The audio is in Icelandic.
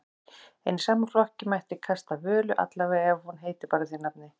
En í sama flokki mætti kasta Völu, allavega ef hún heitir bara því nafni.